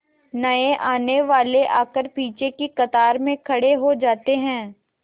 नए आने वाले आकर पीछे की कतार में खड़े हो जाते हैं